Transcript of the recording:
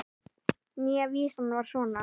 Nýja vísan var svona